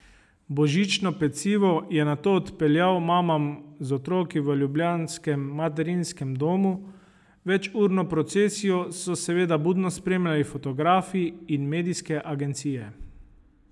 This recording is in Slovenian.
Božično pecivo je nato odpeljal mamam z otroki v ljubljanskem materinskem domu, večurno procesijo so seveda budno spremljali fotografi in medijske agencije.